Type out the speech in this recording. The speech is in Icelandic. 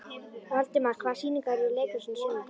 Valdimar, hvaða sýningar eru í leikhúsinu á sunnudaginn?